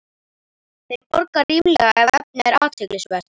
Þeir borga ríflega, ef efnið er athyglisvert